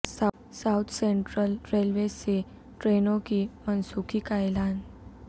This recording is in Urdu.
ساوتھ سنٹرل ریلوے سے ٹرینوں کی منسوخی کا اعلان